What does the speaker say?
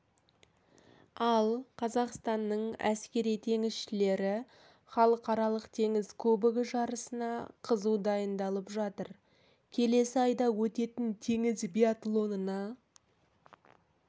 ал қазақстанның әскери теңізшілері халықаралық теңіз кубогы жарысына қызу дайындалып жатыр келесі айда өтетін теңіз биатлонына